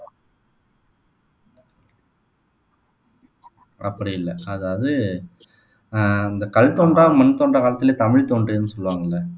அப்படி இல்ல அதாவது ஆஹ் அந்த கல் தோன்றா மண் தோன்றா காலத்திலேயே தமிழ் தோன்றியதுன்னு சொல்லுவாங்க இல்ல